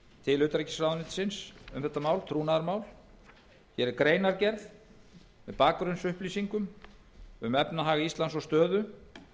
til utanríkisráðuneytisins um þetta mál trúnaðarmál hér er greinargerð með bakgrunnsupplýsingum um efnahag íslands og stöðu